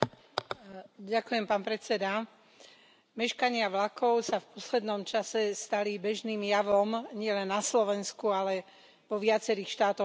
Pán predsedajúci, meškania vlakov sa v poslednom čase stali bežným javom nielen na Slovensku, ale vo viacerých štátoch Európskej únie.